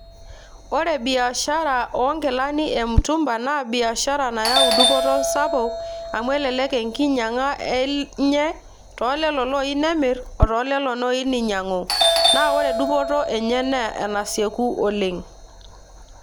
Ore biashara onkilani e mutumba, naa biashara nayau dupoto sapuk amu elelek enkinyang'a enye, tolelo oyieu nemir otoolelo oyieu ninyang'u. Na ore dupoto enye na enasieku oleng'.